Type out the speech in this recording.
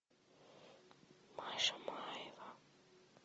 маша маева